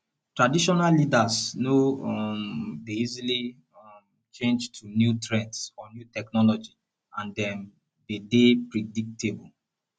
traditional leaders no um dey easily um change to new trends or new technology and dem de dey predictable